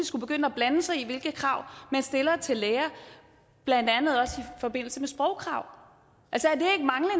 skulle begynde at blande sig i hvilke krav man stiller til læger blandt andet også i forbindelse med sprogkrav